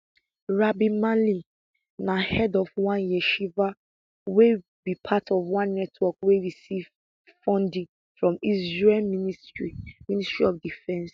rabbi mali na head of one yeshiva wey be part of one network wey receive funding from israel ministry ministry of defence